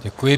Děkuji.